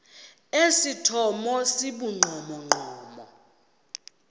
esithomo esi sibugqomogqomo